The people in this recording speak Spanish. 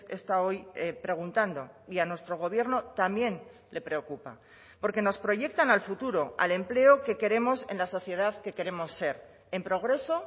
está hoy preguntando y a nuestro gobierno también le preocupa porque nos proyectan al futuro al empleo que queremos en la sociedad que queremos ser en progreso